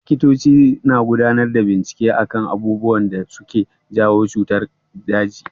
Likitoci na gudanar da bincike akan abubuwan da suke jawo cutar daji.